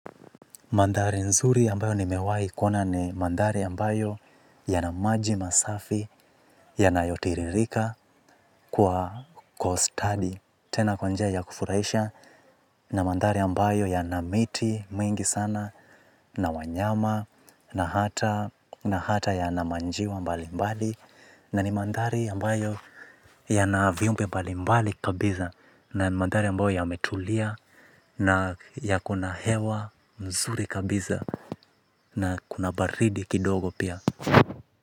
Mandhari nzuri ambayo ni mewai kuona ni mandhari ambayo yana maji masafi, yana yotiririka kwa kwa ustadi. Tena kwa njia ya kufurahisha na mandhari ambayo yana miti mingi sana na wanyama na hata na hata yana manjiwa mbali mbali. Na ni mandhari ambayo yana viumbe mbalimbali kabisa. Na ni mandhari ambayo yametulia na yakona hewa mzuri kabiza. Na kuna baridi kidogo pia.